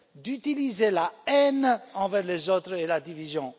d'utiliser la haine envers les autres et la division.